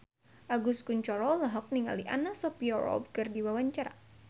Agus Kuncoro olohok ningali Anna Sophia Robb keur diwawancara